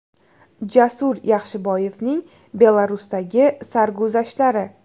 Jasur Yaxshiboyevning Belarusdagi sarguzashtlari !